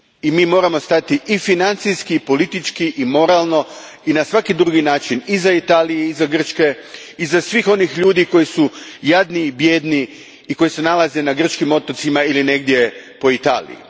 Mi moramo stati i financijski i politički i moralno i na svaki drugi način iza Italije, iza Grčke, iza svih onih ljudi koji su jadni i bijedni i koji se nalaze na grčkim otocima ili negdje po Italiji.